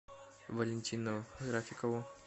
валентину рафикову